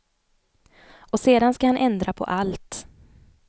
Och sedan ska han ändra på allt.